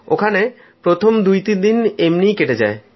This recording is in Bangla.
ওখানে প্রথম দুতিন দিন এমনিই কেটে যায়